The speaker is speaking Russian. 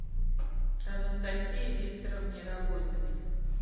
анастасии викторовне рогозиной